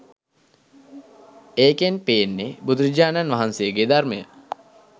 ඒකෙන් පේන්නේ බුදුරජාණන් වහන්සේගේ ධර්මය